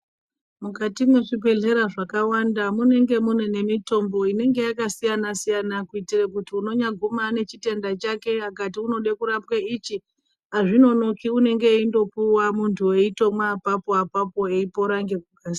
Mukati mwezvibhehlera zvakawanda munenge mune nemitombo inenge yakasiyana-siyana kuitire kuti unonyaguma ane chitenda chake akati unode kurapwe ichi, hazvinonoki unenge eindopuwa muntu eitomwa apapo-apapo eipora ngekukasi...